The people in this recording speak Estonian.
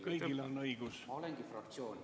Kõigil on õigus ...